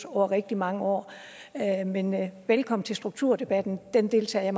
over rigtig mange år men men velkommen til strukturdebatten den deltager